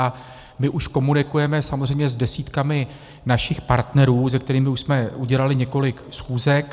A my už komunikujeme samozřejmě s desítkami našich partnerů, se kterými už jsme udělali několik schůzek.